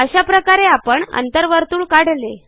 अशाप्रकारे आपण अंतर्वर्तुळ काढले